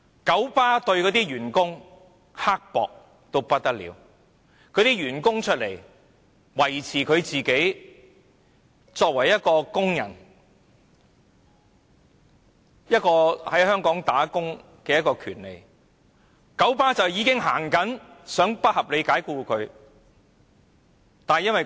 九巴對待員工非常刻薄，員工挺身維護自己作為工人在香港工作的權利，九巴便已經想不合理地解僱他們。